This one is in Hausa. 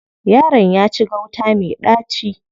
Yaron ya ci gauta me ɗaci.